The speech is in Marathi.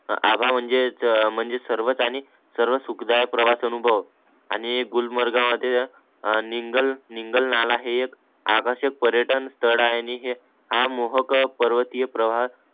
आबा म्हणजे म्हणजेच सर्वच आनि सर्वच सुखदायक प्रवास अनुभव आणि गुलमार्गा मध्ये आ निगल निंगाल नाला हे एक आकर्षक पर्यटन स्तल आहे आणि हे हा मोहक पर्वतीय प्रवास